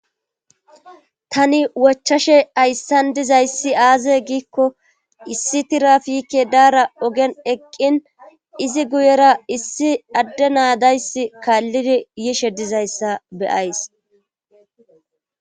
Tani wochashe hayssan dizyassi aaze giikko issi tiraafike daara ogen eqqin izi guyera ogen issi adde na dayssi kaallidi yishe dayssa be7ays